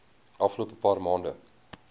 afgelope paar maande